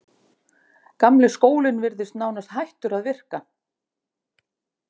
Gamli skólinn virðist nánast hættur að virka.